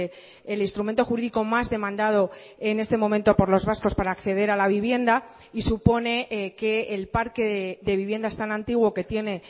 el instrumento jurídico más demandado en este momento por los vascos para acceder a la vivienda y supone que el parque de viviendas tan antiguo que tiene